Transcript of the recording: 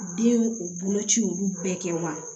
Den u boloci olu bɛɛ kɛ wa